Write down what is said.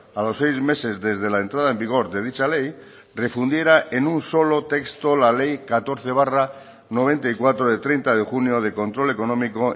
a los seis meses desde la entrada en vigor de dicha ley refundiera en un solo texto la ley catorce barra noventa y cuatro de treinta de junio de control económico